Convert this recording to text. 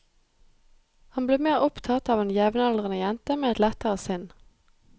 Han blir mer opptatt av en jevnaldrende jente med et lettere sinn.